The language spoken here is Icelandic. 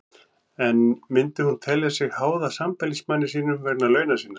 En myndi hún telja sig háða sambýlismanni sínum vegna launa sinna?